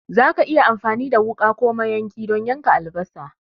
Za ka iya amfani da wuka ko mayanki don yanka albasa.